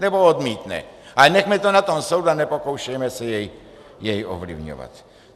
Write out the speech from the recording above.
Nebo odmítne, ale nechme to na tom soudu a nepokoušejme se jej ovlivňovat.